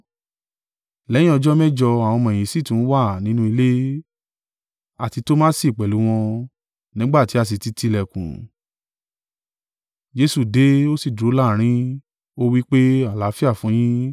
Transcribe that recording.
Lẹ́yìn ọjọ́ mẹ́jọ àwọn ọmọ-ẹ̀yìn sì tún wà nínú ilé, àti Tomasi pẹ̀lú wọn: nígbà tí a sì ti ti ìlẹ̀kùn, Jesu dé, ó sì dúró láàrín, ó wí pé, “Àlàáfíà fún yín.”